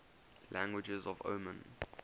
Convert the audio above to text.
languages of oman